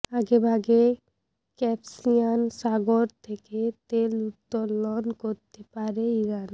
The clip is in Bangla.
আগেভাগে কাস্পিয়ান সাগর থেকে তেল উত্তোলন করতে পারে ইরান